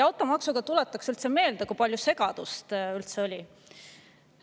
Automaksuga seoses tuletaksin meelde, kui palju segadust sellega on olnud.